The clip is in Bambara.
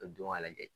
Ka don ka lajɛ